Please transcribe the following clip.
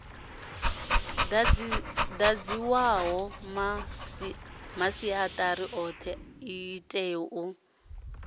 dadziwaho masiatari othe itea u